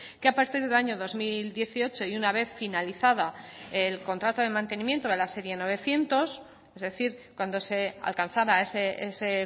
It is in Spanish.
que a partir del año dos mil dieciocho y una vez finalizada el contrato de mantenimiento de la serie novecientos es decir cuando se alcanzara ese